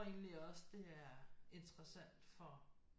Egentlig også det er interessant for